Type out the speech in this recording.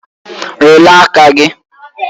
Lelee aka gị!